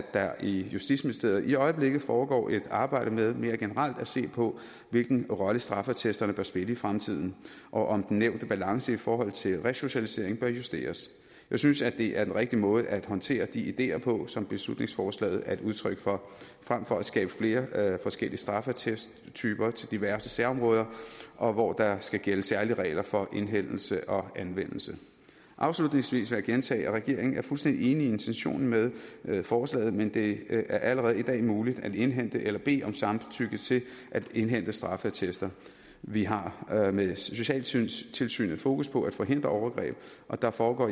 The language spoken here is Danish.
der i justitsministeriet i øjeblikket foregår et arbejde med mere generelt at se på hvilken rolle straffeattesterne bør spille i fremtiden og om den nævnte balance i forhold til resocialisering bør justeres jeg synes at det er den rigtige måde at håndtere de ideer på som beslutningsforslaget er et udtryk for frem for at skabe flere forskellige straffeattesttesttyper til diverse særområder og hvor der skal gælde særlige regler for indhentelse og anvendelse afslutningsvis vil jeg gentage at regeringen er fuldstændig enig i intentionen med forslaget men det er allerede i dag muligt at indhente eller bede om samtykke til at indhente straffeattester vi har med socialtilsynet fokus på at forhindre overgreb og der foregår